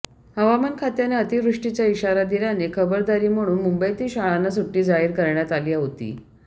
हवामान खात्याने अतिवृष्टीचा इशारा दिल्याने खबरदारी म्हणून मुंबईतील शाळांना सुट्टी जाहीर करण्यात आली होती